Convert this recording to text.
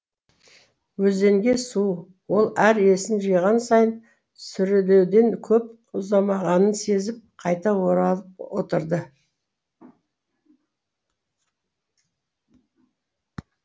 өзенге су ол әр есін жиған сайын сүрлеуден көп ұзамағанын сезіп қайта оралып отырды